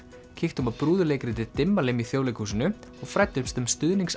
kíktum á brúðuleikritið Dimmalimm í Þjóðleikhúsinu og fræddumst um